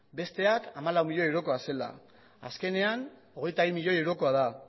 besteak hamalau milioi eurokoa zela azkenean hogeita bi milioi eurokoa da